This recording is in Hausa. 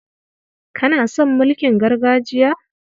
Kana son mulkin gargajiya?